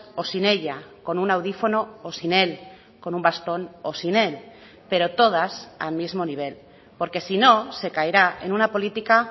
o sin ella con un audífono o sin él con un bastón o sin él pero todas al mismo nivel porque si no se caerá en una política